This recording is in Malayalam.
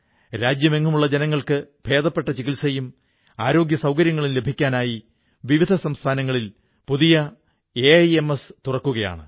രാജ്യമെങ്ങുമുള്ള ജനങ്ങൾക്ക് ഭേദപ്പെട്ട ചികിത്സയും ആരോഗ്യസൌകര്യങ്ങളും ലഭിക്കാനായി വിവിധ സംസ്ഥാനങ്ങളിൽ പുതിയ എയിംസുകൾ തുറന്നു വരികയാണ്